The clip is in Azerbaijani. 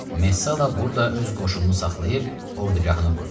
Messala burada öz qoşununu saxlayıb ordugahını qurdu.